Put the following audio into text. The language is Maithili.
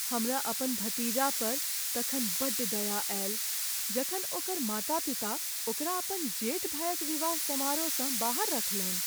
हमरा अपन भतीजा पर तखन बड्ड दया आयल जखन ओकर माता पिता ओकरा अपन जेठ भायक विवाह समारोहसँ बाहर रखलनि।